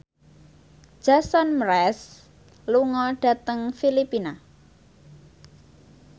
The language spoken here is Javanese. Jason Mraz lunga dhateng Filipina